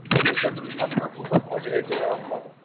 गणेश चतुर्थीला खूपच माझ्या येते भावा आपल्याला